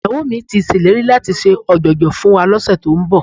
Ìyàwó mi ti ṣèlérí láti ṣe ọ̀jọ̀jọ̀ fún wa lọ́sẹ̀ tó ń bọ̀